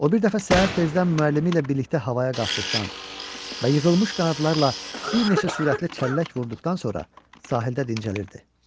O bir dəfə səhər tezdən müəllimi ilə birlikdə havaya qalxdıqdan və yığılmış qanadlarla bir neçə sürətli çəllək vurduqdan sonra sahildə dincəlirdi.